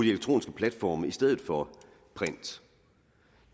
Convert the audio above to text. elektroniske platforme i stedet for print